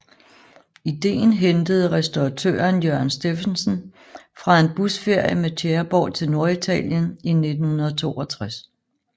Idéen hentede restauratøren Jørgen Steffensen fra en busferie med Tjæreborg til Norditalien i 1962